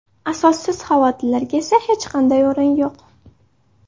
Asossiz xavotirlarga esa hech qanday o‘rin yo‘q.